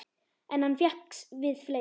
En hann fékkst við fleira.